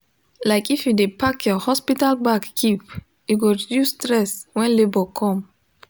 like if u de pack your hospital bag keep e go reduce stress when labor come